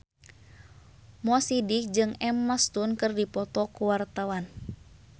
Mo Sidik jeung Emma Stone keur dipoto ku wartawan